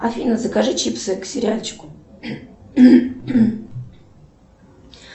афина закажи чипсы к сериальчику